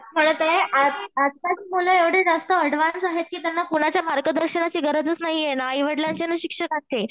मी म्हणत आहे आजकालची मुले एवढी जास्त ऍडव्हान्स आहेत की त्यांना कुणाच्या मार्गदर्शनाची गरजच नाहीये ना आईवडिलांची ना शिक्षकांची